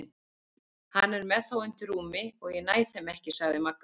Hann er með þá undir rúmi og ég næ þeim ekki sagði Magga.